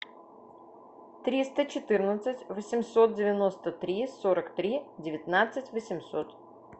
триста четырнадцать восемьсот девяносто три сорок три девятнадцать восемьсот